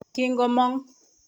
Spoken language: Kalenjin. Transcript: Kingomong.